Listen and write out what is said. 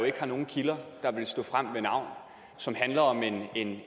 ikke har nogen kilder der vil stå frem med navn og som handler om